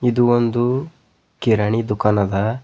ಇದು ಒಂದು ಕಿರಾಣಿ ದುಃಖಾನ ಅದ.